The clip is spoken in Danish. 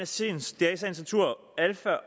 sagens natur alfa